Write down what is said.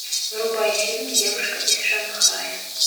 врубай фильм девушка из шанхая